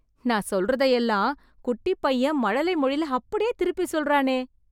நான் சொல்றதையெல்லாம், குட்டிப் பையன் மழலை மொழில அப்டியே திருப்பி சொல்றானே...